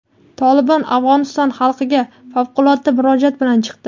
"Tolibon" Afg‘oniston xalqiga favqulodda murojaat bilan chiqdi.